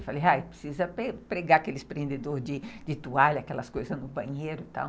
Eu falei, precisa pregar aqueles prendedores de toalha, aquelas coisas no banheiro e tal.